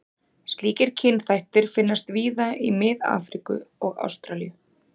Slíkir kynþættir finnast víða í Mið-Afríku og Ástralíu.